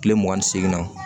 Kile mugan ni segin na